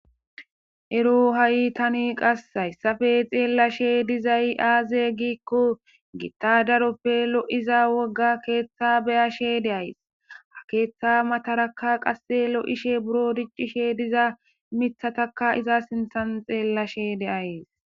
Ero ha7i tani qassayssafe xeellashe dizay aaze giikko gittadaroppe lo7iza wogga keeththa beyashe deays ha keeththa matarakka qasse lo7ishe buro diccishe diza mithatakka iza sinthan xeellashe deayes.